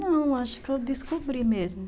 Não, acho que eu descobri mesmo.